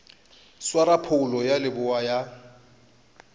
swara phoulo ya leboa ya